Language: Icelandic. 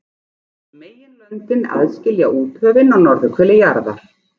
Meginlöndin aðskilja úthöfin á norðurhveli jarðar.